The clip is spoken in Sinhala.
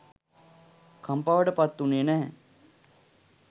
කම්පාවට පත්වුණේ නැහැ.